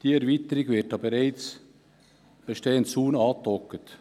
Diese Erweiterung wird an den bereits bestehenden Zaun angedockt.